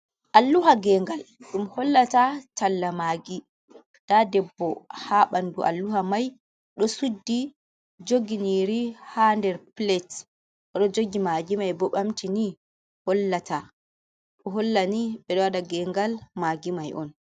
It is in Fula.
Alluha gengal ɗum hollata talla magi. Nda debbo ha ɓandu alluha mai do suddi jogi nyiri ha der plet o ɗo jogi magi mai bo ɓamti ni holla ta. Ɗo holla ni ɓe ɗo waɗa gengal magi mai on.